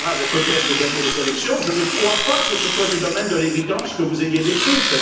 Ouattara avait peut être gagné les élections, je ne crois pas que ce soit du domaine de l'évidence que vous ayez décrite.